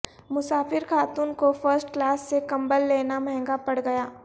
مسافر خاتون کو فرسٹ کلاس سے کمبل لینا مہنگا پڑ گیا